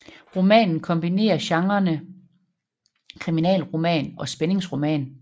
Romanen kombinerer genrerne kriminalroman og spændingsroman